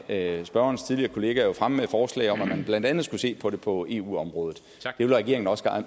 af spørgerens tidligere kollegaer jo fremme med et forslag om at man blandt andet skulle se på det på eu området det vil regeringen også